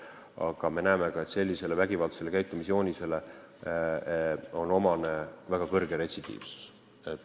Aga me näeme, et vägivaldsele käitumisjoonisele on omane väga suur retsidiivsus.